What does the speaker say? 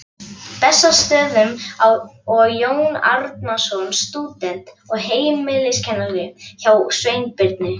Bessastöðum og Jón Árnason, stúdent og heimiliskennari hjá Sveinbirni